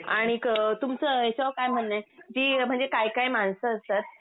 अनिक तुमच याच्यावर काय म्हणन आहे म्हणजे काही काही माणस असतात